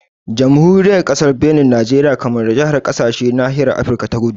Jamhuriyar Kasar Benin, Nijeriya, Kamaru da Nijar kasashe a nahiyar Afirka ta kudu